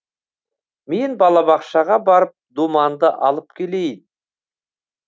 мен балабақшаға барып думанды алып келейін